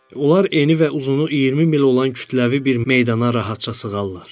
onlar eni və uzunu 20 mil olan kütləvi bir meydana rahatca sığarlar.